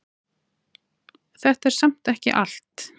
Þetta er samt ekki allt.